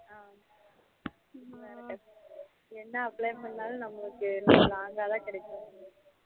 ஆஹ் என்ன apply பண்ணுனாலும் நம்மளுக்கு என்ன கிடைக்கும்